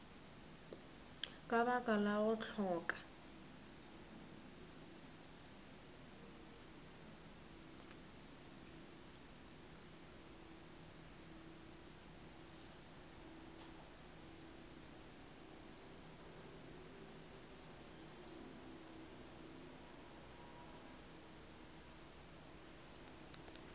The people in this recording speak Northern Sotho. ka lebaka la go hloka